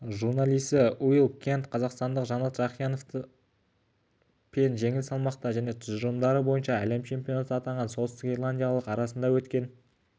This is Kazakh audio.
журналисі уилл кент қазақстандық жанат жақияновты пен жеңіл салмақта және тұжырымдары бойынша әлем чемпионы атанған солтүстік ирландиялық арасында өткен жекпе-жекке